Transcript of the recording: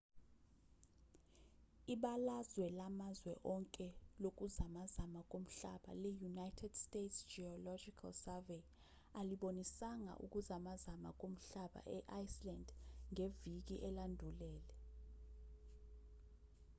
ibalazwe lamazwe onke lokuzamazama komhlaba le-united states geological survey alibonisanga ukuzamazama komhlaba e-iceland ngeviki elandulele